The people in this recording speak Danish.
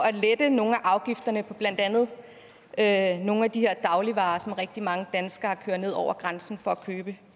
at lette nogle af afgifterne på blandt andet andet nogle af de her dagligvarer som rigtig mange danskere kører ned over grænsen for at købe